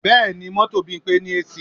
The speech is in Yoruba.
Bẹ́ẹ̀ni, mọ́tò Bímpé ní AC